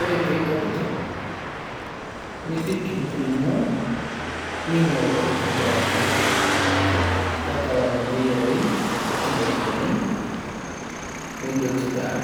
ore peitokitok, nipik enkurma, ning'ol aitobiraki. Tapala meteyerayu ilkuti dakikani, nidotu taa.